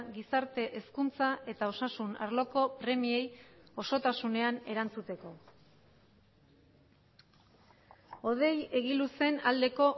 gizarte hezkuntza eta osasun arloko premiei osotasunean erantzuteko hodei egiluzen aldeko